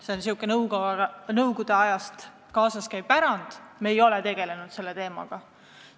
See on säärane nõukogude aja pärand, me ei ole selle teemaga tegelenud.